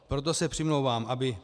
Proto se přimlouvám, aby